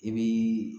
I bii